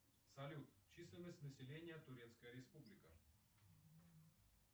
салют численность населения турецкая республика